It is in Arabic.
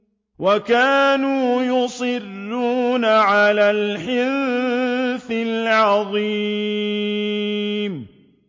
وَكَانُوا يُصِرُّونَ عَلَى الْحِنثِ الْعَظِيمِ